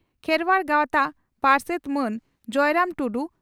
ᱠᱷᱮᱨᱣᱟᱲ ᱜᱟᱣᱛᱟ ᱯᱟᱨᱥᱮᱛ ᱢᱟᱱ ᱡᱚᱭᱨᱟᱢ ᱴᱩᱰᱩ